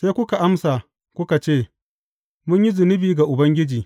Sai kuka amsa, kuka ce, Mun yi zunubi ga Ubangiji.